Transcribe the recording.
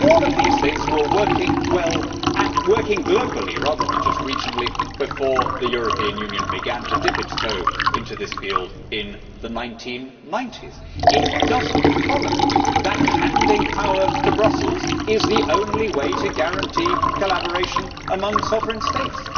All these things were working well, and working globally rather than just regionally, before the European Union began to dip its toe into this field in the 1990s. It does not follow that handing power to Brussels is the only way to guarantee collaboration among sovereign states